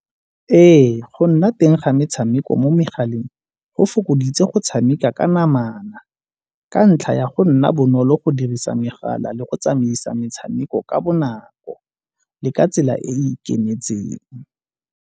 Ee, go nna teng ga metshameko mo megaleng go fokoditse go tshameka ka namana ka ntlha ya go nna bonolo go dirisa megala le go tsamaisa metshameko ka bonako, le ka tsela e e ikemetseng.